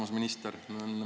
Armas minister!